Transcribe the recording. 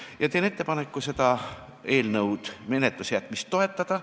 Ma teen ettepaneku selle eelnõu menetlusse jätmist toetada.